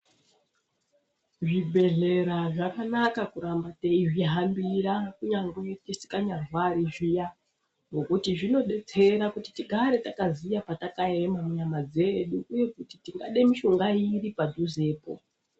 Zvibhehlera zvakanaka kuramba teizvihambira kunyangwe tisikanyarwari zviya ngokuti zvinodetsera kuti tigare takaziya patakaema munyama dzedu uye kuti tingade mishonga iri padhuzepo.